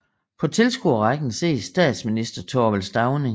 På tilskuerrækken ses statsminister Thorvald Stauning